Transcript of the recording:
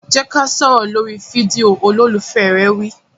Jẹ́ ká sọ̀rọ̀ lórí fídíò! Olólùfẹ́ rẹ̀ wí.